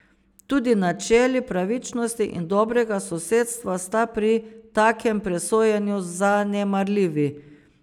Tudi načeli pravičnosti in dobrega sosedstva sta pri takem presojanju zanemarljivi.